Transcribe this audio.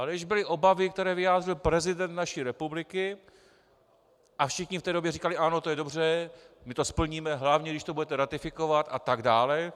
Ale když byly obavy, které vyjádřil prezident naší republiky, a všichni v té době říkali: Ano, to je dobře, my to splníme, hlavně když to budete ratifikovat, a tak dále...